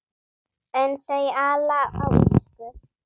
En þau ala á illsku.